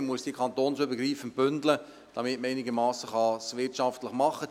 Man muss diese kantonsübergreifend bündeln, damit man es einigermassen wirtschaftlich machen kann.